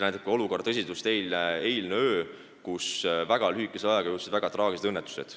Olukorra tõsidust näitas ka eilne öö, kui väga lühikese ajaga juhtusid väga traagilised õnnetused.